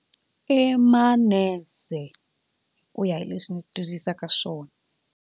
I manese ku ya hi leswi ni tivisaka swona.